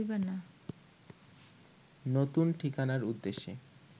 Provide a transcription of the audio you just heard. নতুন ঠিকানার উদ্দেশে